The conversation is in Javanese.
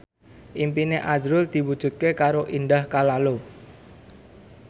impine azrul diwujudke karo Indah Kalalo